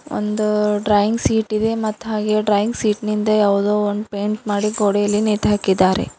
ಒಂದು drawing sheet ಇದೆ ಮತ್ ಹಾಗೆ ಡ್ರಾಯಿಂಗ್ ಸೀಟ್ ನಿಂದೆ ಯಾವುದೋ ಒಂದು ಪೇಂಟ್ ಮಾಡಿ ಗೋಡೆಯಲ್ಲಿ ನೇತ್ ಹಾಕಿದ್ದಾರೆ.